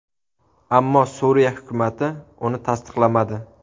Ammo Suriya hukumati uni tasdiqlamadi.